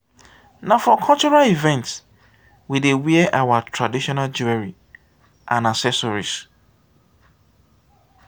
na for cultural events we dey wear our traditional jewelry and accessories.